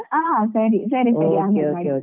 ಹ ಸರಿ ಸರಿ.